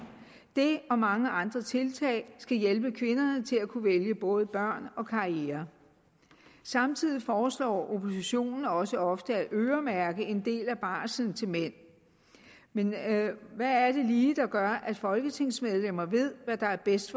det og mange andre tiltag skal hjælpe kvinderne til at kunne vælge både børn og karriere samtidig foreslår oppositionen også ofte at øremærke en del af barslen til mænd men hvad er det lige der gør at folketingsmedlemmer ved hvad der er bedst